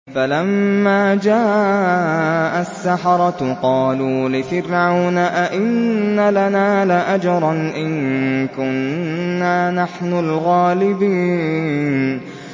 فَلَمَّا جَاءَ السَّحَرَةُ قَالُوا لِفِرْعَوْنَ أَئِنَّ لَنَا لَأَجْرًا إِن كُنَّا نَحْنُ الْغَالِبِينَ